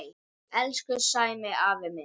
Elsku Sæmi afi minn.